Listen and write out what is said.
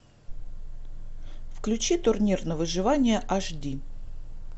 включи турнир на выживание аш ди